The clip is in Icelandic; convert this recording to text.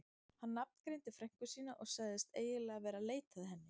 Hann nafngreindi frænku sína og sagðist eiginlega vera að leita að henni.